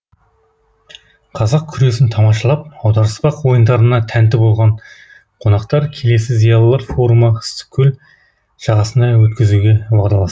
қазақ күресін тамашалап аударыспақ ойындарына тәнті болған қонақтар келесі зиялылар форумы ыстықкөл жағасына өткізуге уағдаласты